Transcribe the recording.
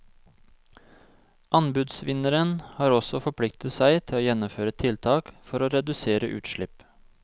Anbudsvinneren har også forpliktet seg til å gjennomføre tiltak for å redusere utslipp.